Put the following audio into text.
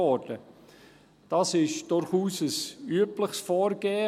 Dies ist ein durchaus übliches Vorgehen.